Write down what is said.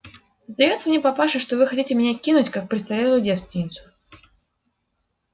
сдаётся мне папаша что вы хотите меня кинуть как престарелую девственницу